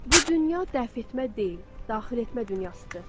Bu dünya dəf etmə deyil, daxil etmə dünyasıdır.